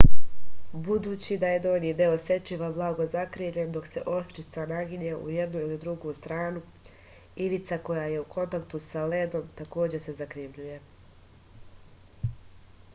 budući da je donji deo sečiva blago zakrivljen dok se oštrica naginje u jednu ili drugu stranu ivica koja je u kontaktu sa ledom takođe se zakrivljuje